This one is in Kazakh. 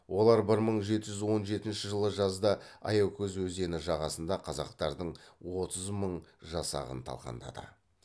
олар бір мың жеті жүз он жетінші жылы жазда аякөз өзені жағасында қазақтардың отыз мың жасағын талқандады